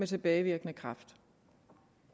tilbage